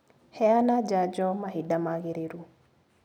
Heana janjo mahinda magĩrĩru.